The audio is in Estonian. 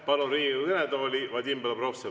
Palun Riigikogu kõnetooli Vadim Belobrovtsevi.